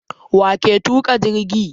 Waƴake tuka jirgi?